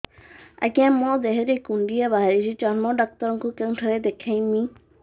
ଆଜ୍ଞା ମୋ ଦେହ ରେ କୁଣ୍ଡିଆ ବାହାରିଛି ଚର୍ମ ଡାକ୍ତର ଙ୍କୁ କେଉଁଠି ଦେଖେଇମି